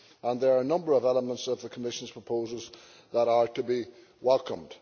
There are a number of elements of the Commission's proposals that are to be welcomed.